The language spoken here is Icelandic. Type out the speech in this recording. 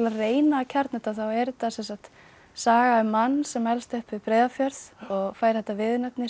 reyna að kjarna þetta þá er þetta saga um mann sem elst upp við Breiðafjörð og fær þetta viðurnefni